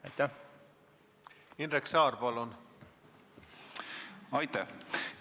Aitäh!